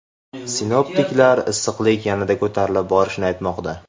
Sinoptiklar issiqlik yanada ko‘tarilib borishini aytmoqda.